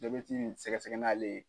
Jabɛti sɛgɛsɛgɛ n'ale ye.